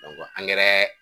u ka